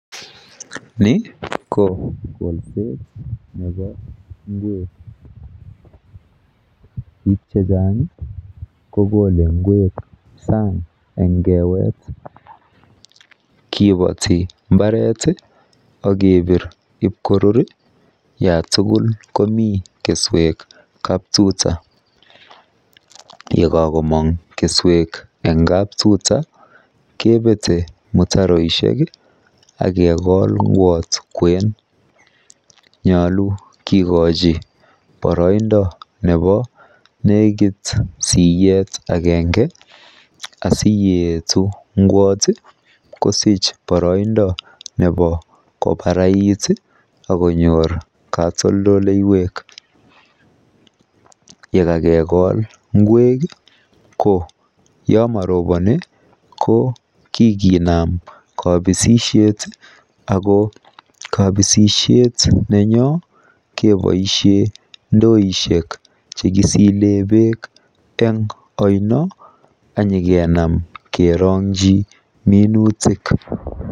Ni ko kolset ne bo ngwek biik chechang kokole ngwek sang en kewet, kibati mbaret ii akebir ib korur, yatugul komii keswek kaptutaa, yekakomong keswek en kaptuta, kebet mutaroisiek ,akekol ngwot ngwen, nyolu kikochi boroindo ne bo nekit siyet agenge asiyeetu ngwot ii kosich boroindoo ne bo kobarait it akonyor katoltoleiwek, yekakekol ngwek ii ko kikinam kabisisiet, akoo kabisisiet nenyoo keboisien ndoisiek chekisile beek eng ainoo akinyokenam kerongyi minutik.